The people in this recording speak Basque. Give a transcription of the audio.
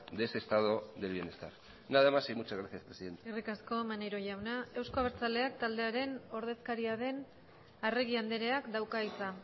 de ese estado de bienestar nada más y muchas gracias presidenta eskerrik asko maneiro jauna euzko abertzaleak taldearen ordezkaria den arregi andreak dauka hitza